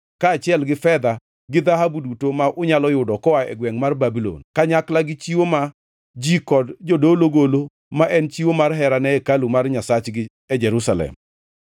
kaachiel gi fedha gi dhahabu duto ma unyalo yudo koa e gwengʼ mar Babulon, kanyakla gi chiwo ma ji kod jodolo golo ma en chiwo mar hera ne hekalu mar Nyasachgi e Jerusalem.